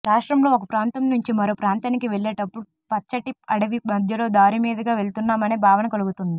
రాష్ట్రంలో ఒక ప్రాంతం నుంచి మరో ప్రాంతానికి వెళ్ళేటప్పుడు పచ్చటి అడవి మధ్యలో దారిమీదుగా వెళ్తున్నామనే భావన కలుగుతుంది